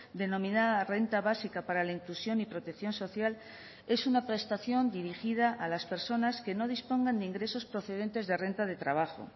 denomina renta básica para la inclusión y protección social es una prestación dirigida a las personas que no dispongan de ingresos procedentes de renta de trabajo